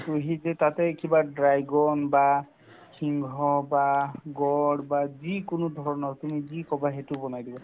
মিহি যে তাতে কিবা dragon বা সিংহ বা গঁড় বা যিকোনো ধৰণৰ তুমি যি ক'বা সেইটো বনাই দিব